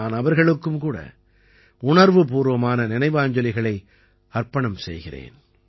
நான் அவர்களுக்கும் கூட உணர்வுபூர்வமான நினைவாஞ்சலிகளை அர்ப்பணம் செய்கிறேன்